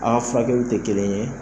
Aka furakɛli te kelen ye